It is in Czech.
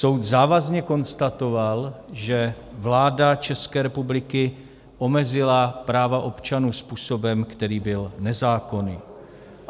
Soud závazně konstatoval, že vláda České republiky omezila práva občanů způsobem, který byl nezákonný.